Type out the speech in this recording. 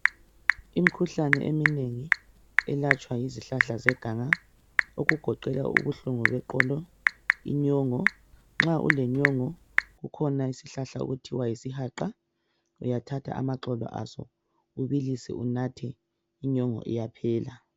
Imikhuhlane eminengi elatshwa yizihlahla zeganga okugoqela ubuhlungu beqolo, inyongo nxa lenyongo kukhona isihlahla okuthiwa yisihaqa uyathatha amaxolo aso ubilise unathe inyongo iyaphela.